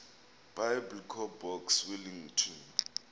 biblecor box wellington